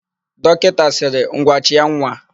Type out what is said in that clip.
Dọkịta sịrị, "ngwa chịa nwa"!